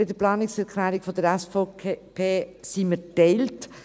Bei der Planungserklärung der SVP sind wir geteilt;